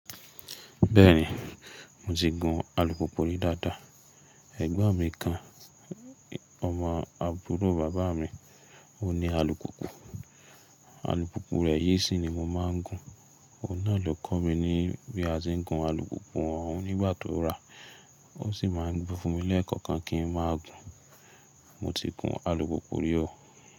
Bẹ́ẹ̀ni, mo ti gun alùpùpù rí dáadáa. Ẹ̀gbọ́n mi kan, ọmọ àbúrò bàbá mi, ó ní alùpùpù. Alùpùpù rẹ̀ yìí sí ni mo máa ń gun. Óun náà ló kọ́ mi ní bí a ti ń gun alùpùpù. Òun ni ìgbà tó rà, ó sì máa ń gbé fún mí lẹ́ẹ̀kan kan kí n máa gùn. Mo ti gun alùpùpù rí oo.